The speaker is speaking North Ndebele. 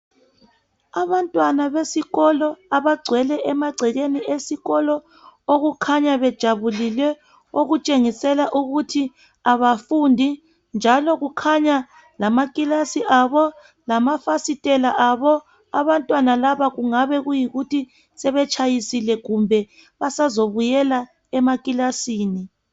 Abantwana besikolo abagcwele emagcekeni esikolo okukhanya bejabulile okutshengisela ukuthi abafundi njalo kukhanya lamakilasi abo lamafasitela abo abantwana laba kungabe kuyikuthi sebetshayisile kumbe basazobuyela emakilasini.